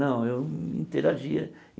Não, eu interagia.